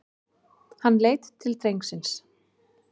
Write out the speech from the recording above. Hann leit til drengsins.